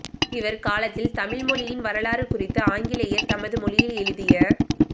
இவர் காலத்தில் தமிழ் மொழியின் வரலாறு குறித்து ஆங்கிலேயர் தமது மொழியில் எழுதிய